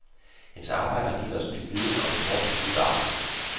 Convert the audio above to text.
Hendes arbejde har givet os ny viden om en hårdt truet art.